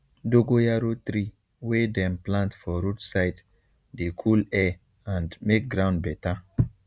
dogoyaro tree wey dem plant for road side dey cool air and make ground better